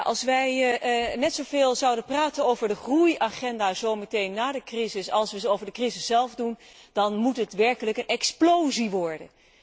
Als wij net zoveel zouden praten over de groei agenda, zo meteen na de crisis, als over de crisis zelf, dan moet dit werkelijk een explosie worden.